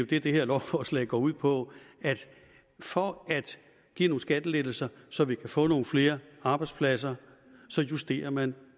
det det her lovforslag går ud på for at give nogle skattelettelser så vi kan få nogle flere arbejdspladser justerer man